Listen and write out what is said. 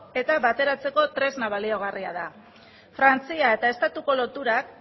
eta bateratzeko tresna baliagarria frantzia eta estatuko loturak